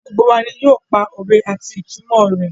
Gbogbo wa ni yóò pa òwe àti ìtumọ̀ rẹ̀.